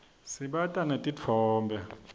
sibata netitfombe